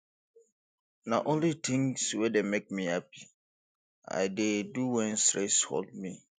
na only tins wey dey make me hapi i dey do wen stress hold me